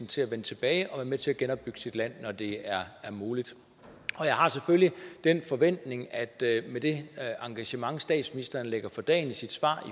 til at vende tilbage og være med til at genopbygge sit land når det er muligt og jeg har selvfølgelig den forventning at med det engagement statsministeren lægger for dagen i sit svar